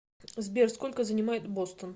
сбер сколько занимает бостон